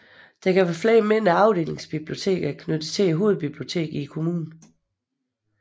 Der kan være flere mindre afdelingsbiblioteker knyttet til hovedbiblioteket i kommunen